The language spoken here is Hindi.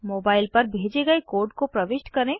मोबाइल पर भेजे गए कोड को प्रविष्ट करें